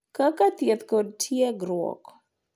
Kaka thieth kod tiegruok.